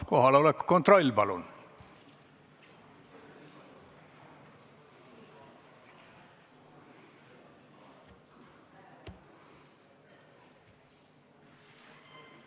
Kohaloleku kontroll, palun!